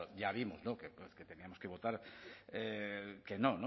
ya vimos que teníamos que votar que no